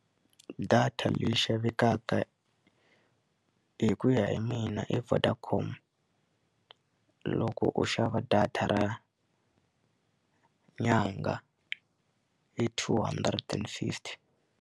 Data leyi xavekaka hi ku ya hi mina i Vodacom loko u xava data ra nyanga hi two hundred and fifty.